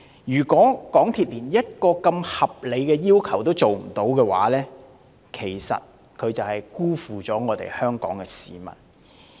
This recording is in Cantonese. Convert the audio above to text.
如果港鐵公司連如此合理的要求也不能滿足，無疑是辜負了香港市民。